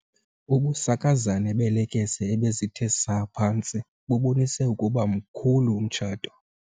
Ubusakazane beelekese ebezithe saa phantsi bubonise ukuba mkhulu umtshato.